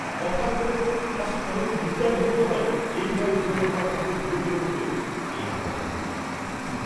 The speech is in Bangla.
কথার গোলে পাছে কনকের নিদ্রা ভঙ্গ হয়, এই ভয়ে হিরণকুমার তাহাকে ধীরে ধীরে বলিলেন, এই ঘরে, কিন্তু চুপ!